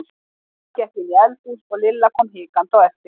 Amma gekk inn í eldhús og Lilla kom hikandi á eftir.